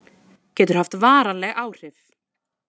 Getur haft varanleg áhrif